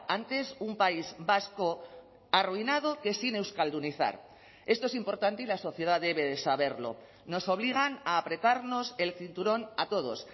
antes un país vasco arruinado que sin euskaldunizar esto es importante y la sociedad debe de saberlo nos obligan a apretarnos el cinturón a todos